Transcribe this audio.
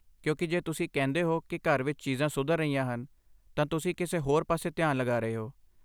ਕਿਉਂਕਿ, ਜੇ ਤੁਸੀਂ ਕਹਿੰਦੇ ਹੋ ਕਿ ਘਰ ਵਿੱਚ ਚੀਜ਼ਾਂ ਸੁਧਰ ਰਹੀਆਂ ਹਨ, ਤਾਂ ਤੁਸੀਂ ਕਿਸੇ ਹੋਰ ਪਾਸੇ ਧਿਆਨ ਲਗਾ ਰਹੇ ਹੋ।